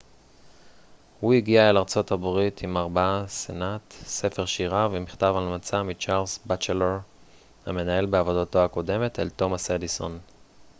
"הוא הגיע אל ארה""ב עם ארבעה סנט ספר שירה ומכתב המלצה מצ'רלס בטצ'לור המנהל בעבודתו הקודמת אל תומאס אדיסון.